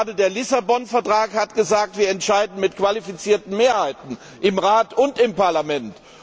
Gerade der Lissabon Vertrag hat gesagt Wir entscheiden mit qualifizierten Mehrheiten im Rat und im Parlament.